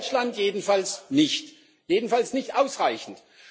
In Deutschland jedenfalls nicht jedenfalls nicht ausreichend.